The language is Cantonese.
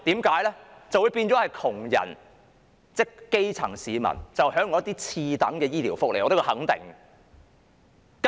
這樣就變相令窮人即基層市民享用次等的醫療福利，這點我可以肯定。